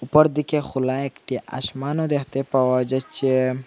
উপরদিকে খোলা একটি আসমানও দ্যাখতে পাওয়া যাইচ্চে।